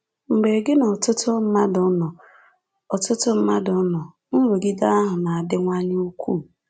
Mgbe gị na ọtụtụ mmadụ nọ, ọtụtụ mmadụ nọ, nrụgide ahụ na-adịwanye ukwuu.